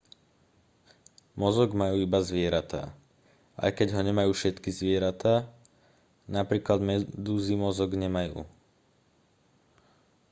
mozog majú iba zvieratá aj keď ho nemajú všetky zvieratá; napríklad medúzy mozog nemajú